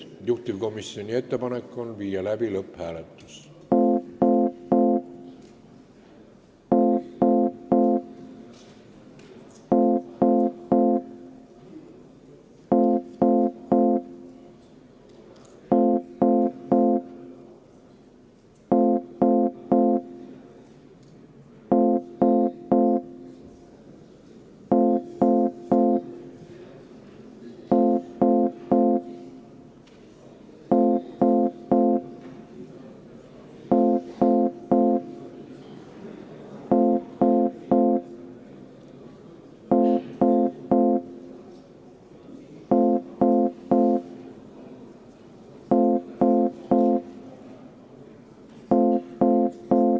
Juhtivkomisjoni ettepanek on viia läbi lõpphääletus.